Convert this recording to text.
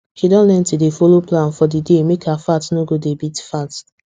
she don learn to dey follow plan for the day make her heart no go dey beat fast